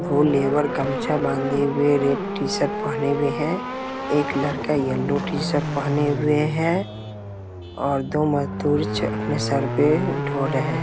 दो लेबर गमछा बंधे हुए रेड टी-शर्ट पहने हुए है एक लड़का येल्लो टी-शर्ट पहने हुए है और दो मजदूर अपने सर पे ढो रहे है ।